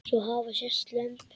Svo hafa sést lömb.